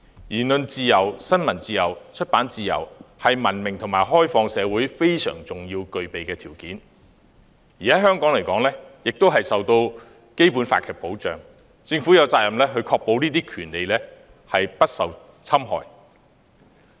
言論自由、新聞自由及出版自由，是文明和開放社會應具備的非常重要的條件，在香港皆受《基本法》保障，政府有責任確保這些權利不受侵害。